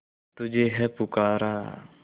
तुझे है पुकारा